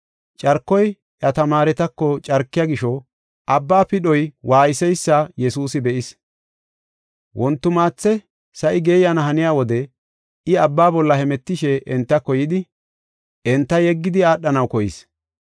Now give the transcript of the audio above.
Carkoy iya tamaaretako carkiya gisho, abba pidhoy waayseysa Yesuusi be7is. Wontimaathe sa7i geeyana haniya wode I abba bolla hemetishe entako yidi, enta yeggidi aadhanaw koyis.